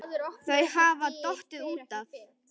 Þau hafa bara dottið út af